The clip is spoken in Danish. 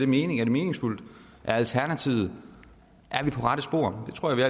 mening er det meningsfuldt og er alternativet på rette spor det tror jeg